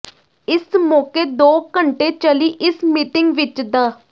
ਇਸ ਮੌਕੇ ਦੋ ਘੰਟੇ ਚੱਲੀ ਇਸ ਮੀਟਿੰਗ ਵਿਚ ਡਾ